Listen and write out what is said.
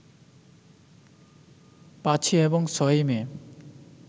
৫ই এবং ৬ই মে